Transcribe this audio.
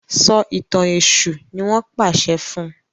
So ìtàn èṣù ní wón pàṣẹ fún.